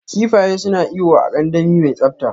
Kifaye suna iyo a kandami mai tsabta.